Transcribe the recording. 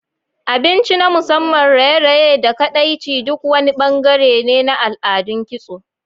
Abinci na musamman, raye-raye, da kaɗaici duk wani bangare ne na al'adun kitso.